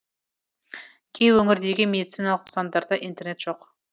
кей өңірдегі медициналық нысандарда интернет жоқ